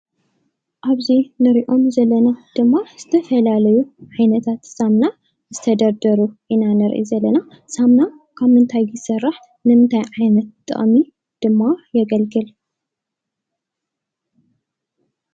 ኣብዚ ንሪኦም ዘለና ድማ ዝተፈላለዩ ዓይነታት ሳሙና ዝተደርደሩ ኢና ንርኢ ዘለና፡፡ ሳሙና ካብ ምንታይ ይስራሕ? ንምንታይ ዓይነት ጥቕሚ ድማ የገልግል?